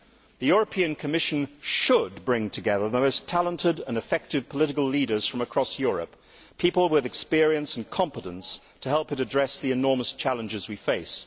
The European Commission should bring together the most talented and effective political leaders from across Europe, people with experience and competence to help it address the enormous challenges we face.